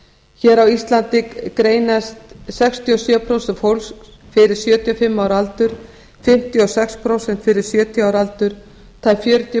hér á íslandi greinast sextíu og sjö prósent fólks fyrir sjötíu og fimm ára aldur fimmtíu og sex prósent fyrir sjötíu ára aldur og tæp fjörutíu